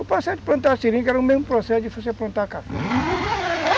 O processo de plantar seringa era o mesmo processo de você plantar café.